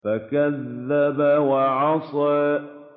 فَكَذَّبَ وَعَصَىٰ